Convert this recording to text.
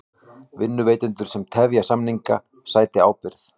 Vinnuveitendur sem tefja samninga sæti ábyrgð